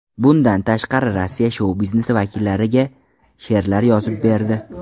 Bundan tashqari Rossiya shou-biznesi vakillariga she’rlar yozib berdi.